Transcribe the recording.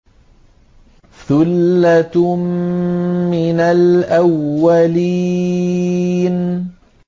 ثُلَّةٌ مِّنَ الْأَوَّلِينَ